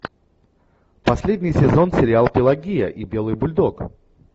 последний сезон сериал пелагея и белый бульдог